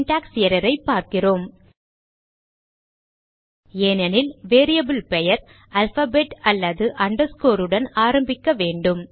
syntax error ஐ பார்க்கிறோம் ஏனெனில் வேரியபிள் பெயர் அல்பாபெட் அல்லது அண்டர்ஸ்கோர் உடன் ஆரம்பிக்க வேண்டும்